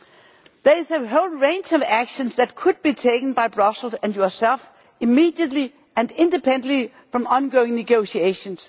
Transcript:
There is a whole range of actions that could be taken by Brussels and yourself immediately and independently from ongoing negotiations.